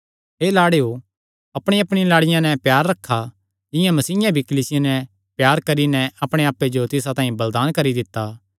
हे लाड़ेयो अपणियाअपणिया लाड़िया नैं प्यार रखा जिंआं मसीयें भी कलीसिया नैं प्यार करी नैं अपणे आप्पे जो तिसा तांई बलिदान करी दित्ता